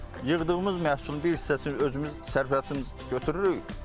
Yığdığımız məhsulun bir hissəsini özümüz sərfəyatımız götürürük.